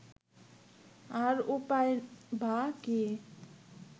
আর উপায়ই বা কী